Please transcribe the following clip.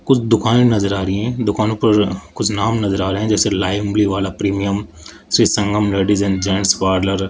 कुछ दुकाने नजर आ रही हैं दुकानों पर कुछ नाम नजर आ रहे हैं जैसे लाइव वाला premium Shri Sangam ladies and gents parlour --